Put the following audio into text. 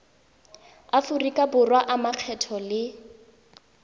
aforika borwa a makgetho le